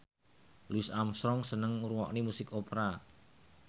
Louis Armstrong seneng ngrungokne musik opera